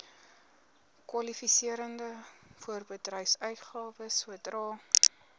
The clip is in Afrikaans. kwalifiserende voorbedryfsuitgawes sodra